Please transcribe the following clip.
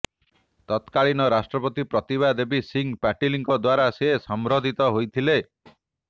ତତ୍କାଳୀନ ରାଷ୍ଟ୍ରପତି ପ୍ରତିଭା ଦେବୀସିଂ ପାଟିଲଙ୍କ ଦ୍ୱାରା ସେ ସମ୍ବର୍ଦ୍ଧିତ ହୋଇଥିଲେ